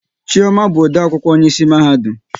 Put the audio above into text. Chioma bụ ode akwụkwọ onye isi mahadum